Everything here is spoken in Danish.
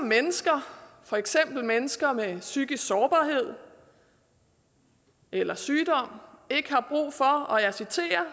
mennesker for eksempel mennesker med psykisk sårbarhed eller sygdom ikke har brug for og jeg citerer